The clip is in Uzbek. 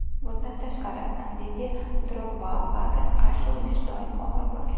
Bundan tashqari, Didye Drogbaga qarshi o‘ynash doim og‘ir bo‘lgan.